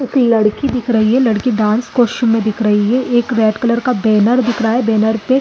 एक लड़की दिख रही है लड़की डांस कास्टूम मे दिख रही है एक रेड कलर का बैनर दिख रहा है बैनर पे --